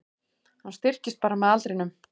Hann styrkist bara með aldrinum